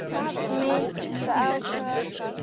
Minnti á það.